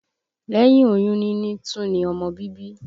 Lẹ́yìn oyún níní tún ní ọmọ bíbí